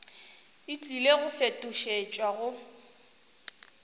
e tlile go fetošetšwa go